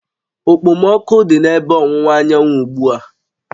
Okpomọkụ dị n'ebe ọwụwa anyanwụ ugbu a